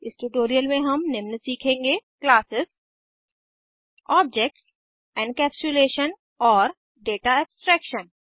इस ट्यूटोरियल में हम निम्न सीखेंगे क्लासेस ऑब्जेक्ट्स एनकैप्सुलेशन और दाता एब्स्ट्रैक्शन